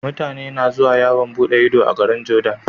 Mutane na zuwa yawan buɗe Ido a garin jordan